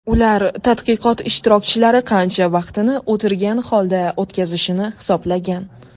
Ular tadqiqot ishtirokchilari qancha vaqtini o‘tirgan holda o‘tkazishini hisoblagan.